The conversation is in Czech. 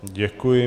Děkuji.